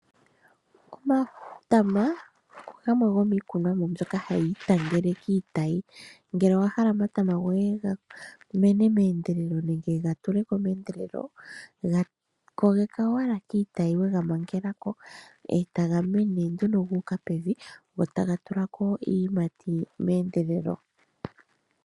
Omatama ogamwe gomiikunomwa mboka hayi itangele kiitayi. Ngele owa hala omatama goye ga mene meendelelo nenge ga tule ko meendelelo, ga kogeka owala kiitayi we ga mangela ko, e taga mene nduno gu uka pevi, go taga tula ko iiyimati meendelelo.